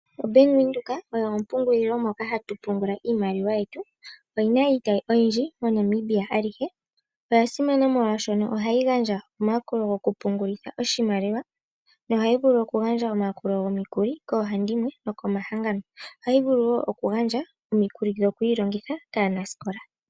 OBank Windhoek oyo ompungulilo moka hatu pungula iimaliwa yetu. Oyina iitayi oyindji MoNamibia alihe. Oyasimana molwaashono ohayi gandja omayakulo gokupungulitha oshimaliwa nohayi vulu okugandja omayakulo gomikuli koohandimwe nokomahangano. Ohayi vulu wo okugandja omikuli dhokwiilongitha kaanasikola.